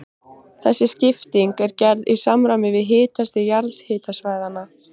Þessi skipting er gerð í samræmi við hitastig jarðhitasvæðanna.